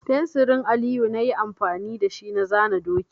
Fensirin Aliyu na yi amfani da shi na zana doki.